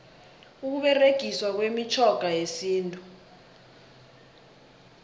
ukuberegiswa kwemitjhoga yesintu